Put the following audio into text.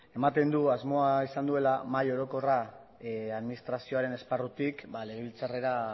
ematen du asmoa izan duela mahai orokorra administrazioaren esparrutik legebiltzarrera